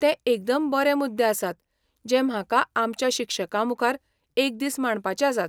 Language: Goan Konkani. ते एकदम बरे मुद्दे आसात जे म्हाका आमच्या शिक्षकांमुखार एक दीस मांडपाचे आसात.